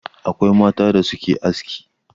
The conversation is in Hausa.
Akwai mata da suke aski.